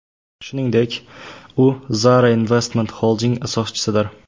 Shuningdek, u Zara Investment Holding asoschisidir.